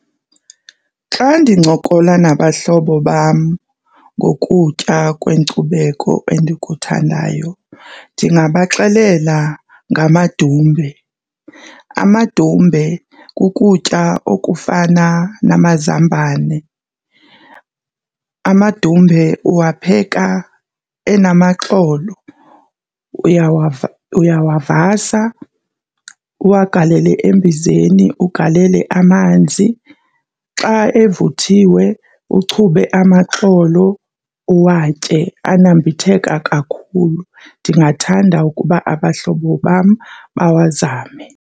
Xa ndincokola nabahlobo bam ngokutya kwenkcubeko endikuthandayo ndingabaxelela ngamadumbe. Amadumbe kukutya okufana namazambane. Amadumbe uwapheka enamaxolo, uyawavasa uwagalele embizeni ugalele amanzi. Xa evuthiwe uchube amaxolo uwatye, anambitheka kakhulu. Ndingathanda ukuba abahlobo bam bawazame.